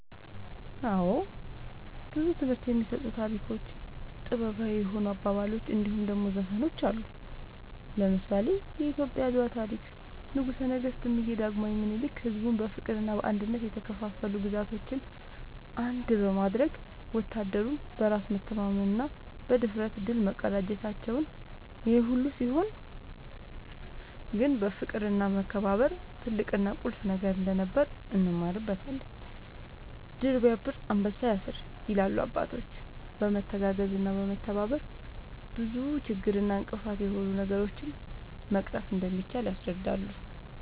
አወ ብዙ ትምህርት የሚሰጡ ታሪኮች ጥበባዊ የሆኑ አባባሎች እንድሁም ደሞ ዘፈኖች አሉ። ለምሳሌ :-የኢትዮጵያ የአድዋ ታሪክ ንጉሰ ነገስት እምዬ ዳግማዊ ምኒልክ ሕዝቡን በፍቅርና በአንድነት የተከፋፈሉ ግዛቶችን አንድ በማድረግ ወታደሩም በራስ መተማመንና ብድፍረት ድል መቀዳጀታቸውን ይሄ ሁሉ ሲሆን ግን ፍቅርና መከባበር ትልቅና ቁልፍ ነገር እንደነበር እንማርበታለን # "ድር ስያብር አንበሳ ያስር" ይላሉ አባቶች በመተጋገዝና በመተባበር ብዙ ችግር እና እንቅፋት የሆኑ ነገሮችን መቅረፍ እንደሚቻል ያስረዳሉ